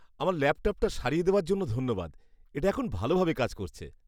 আমার ল্যাপটপটা সারিয়ে দেওয়ার জন্য ধন্যবাদ। এটা এখন ভালোভাবে কাজ করছে।